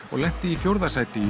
og lenti í fjórða sæti í